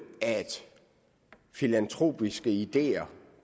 at filantropiske ideer